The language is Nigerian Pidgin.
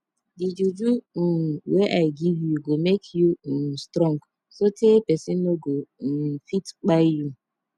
di juju um wey i give you go make you um strong sotee pesin no go um fit kpai you